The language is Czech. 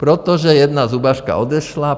Protože jedna zubařka odešla.